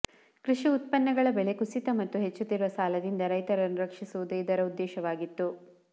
ಕೃಷಿ ಉತ್ಪನ್ನಗಳ ಬೆಲೆ ಕುಸಿತ ಮತ್ತು ಹೆಚ್ಚುತ್ತಿರುವ ಸಾಲದಿಂದ ರೈತರನ್ನು ರಕ್ಷಿಸುವುದು ಇದರ ಉದ್ದೇಶವಾಗಿತ್ತು